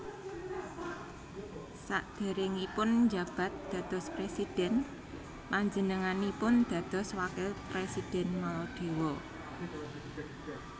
Saderengipun njabat dados presidhèn panjenenganipun dados Wakil Presidhèn Maladewa